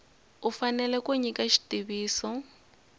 u fanele ku nyika xitiviso